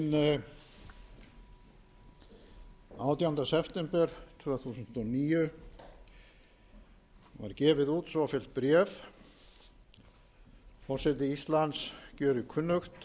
hinn átjánda september tvö þúsund og níu var gefið út svofellt bréf forseti íslands gjörir kunnugt